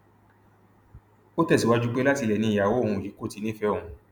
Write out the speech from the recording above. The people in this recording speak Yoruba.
ó tẹsíwájú pé látilẹ ni ìyàwó òun yìí kò ti nífẹẹ òun